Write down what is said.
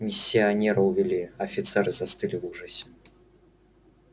миссионера увели офицеры застыли в ужасе